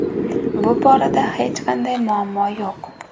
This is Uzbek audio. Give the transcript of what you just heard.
Bu borada hech qanday muammo yo‘q”.